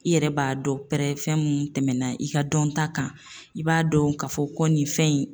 ƝI yɛrɛ b'a dɔn pɛrɛ fɛn mun tɛmɛna i ka dɔnta kan, i b'a dɔn k'a fɔ ko nin fɛn in